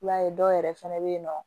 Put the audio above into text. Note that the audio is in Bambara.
I b'a ye dɔw yɛrɛ fɛnɛ bɛ yen nɔ